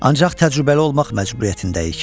Ancaq təcrübəli olmaq məcburiyyətindəyik.